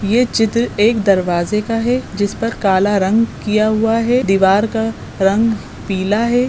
ये चित्र एक दरवाजे का है जिस पर काला रंग किया हुआ है दीवार का रंग पीला है।